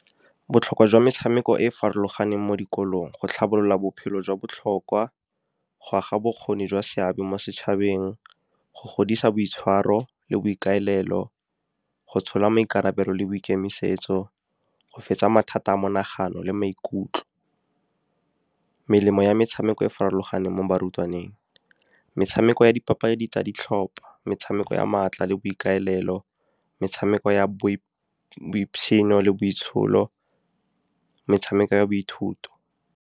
Botlhokwa jwa metshameko e e farologaneng mo dikolong, go tlhabolola bophelo jwa botlhokwa, go aga bokgoni jwa seabe mo setšhabeng, go godisa boitshwaro le boikaelelo, go tshola maikarabelo le boikemisetso, go fetsa mathata a monagano le maikutlo. Melemo ya metshameko e e farologaneng mo barutwaneng, metshameko ya dipapadi tsa ditlhopa, metshameko ya maatla le boikaelelo, metshameko ya le boitsholo, metshameko ya boithuto.